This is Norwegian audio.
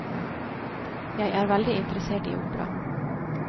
Jeg er veldig interessert i opera.